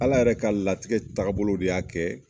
Ala yɛrɛ ka latigɛ tagabolo de y'a kɛ